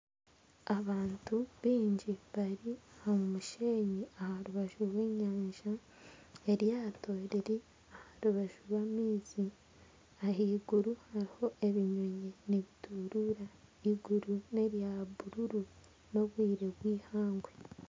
Abantu baingi bari omu musheenyi aha rubaju rw'enyanja eryato riri aha rubaju rw'amaizi ahaiguru hariho ebinyonyi nibituruura eiguru nerya bururu n'obwire bweihangwe